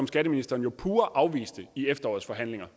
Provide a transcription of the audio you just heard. skatteministeren jo pure afviste i efterårets forhandlinger